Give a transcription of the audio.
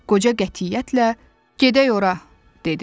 Qoca qətiyyətlə: “Gedək ora!” dedi.